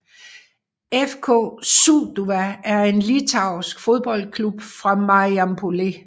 FK Sūduva er en litauisk fodboldklub fra Marijampolė